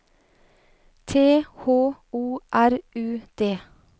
T H O R U D